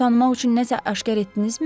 Onu tanımaq üçün nə isə aşkar etdinizmi?